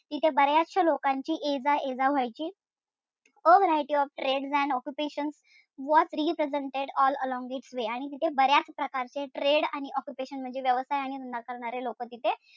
तिथे बर्याचशा लोकांची ये जा ये जा व्हायची organise your trades and occupations what represented all along this way आणि ते बर्याच प्रकारचे trade आणि operation म्हणजे व्यवसाय आणि धंदा करणारे लोकं तिथं,